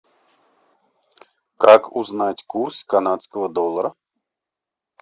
как узнать курс канадского доллара